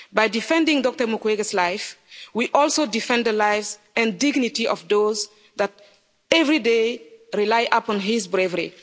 By defending Dr Mukwege's life, we also defend the lives and dignity of those that every day rely upon his bravery.